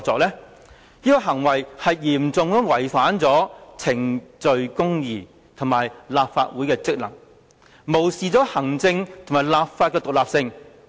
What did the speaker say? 這種行為嚴重違反程序公義及破壞立法會的職能，無視行政及立法的獨立性。